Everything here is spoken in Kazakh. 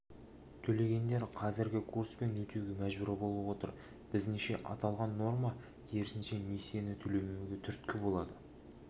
төлегендер қазіргі курспен өтеуге мәжбүр болып отыр біздіңше аталған норма керісінше несиені төлемеуге түрткі болады